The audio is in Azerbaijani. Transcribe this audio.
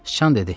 Sıcan dedi: